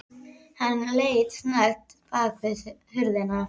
Hann leit snöggt bak við hurðina.